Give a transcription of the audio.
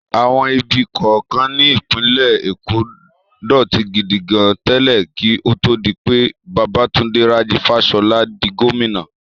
Àwọn ibi kọ̀ọ̀kan ní ìpínlẹ̀ Èkó dọ̀tí gidi gan tẹ́lẹ̀ kí ó tó di pé Babátúndé Rájí Fáṣọlá di gómìnà.